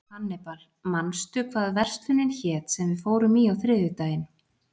Hannibal, manstu hvað verslunin hét sem við fórum í á þriðjudaginn?